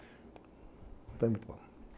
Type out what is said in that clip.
Então é muito bom.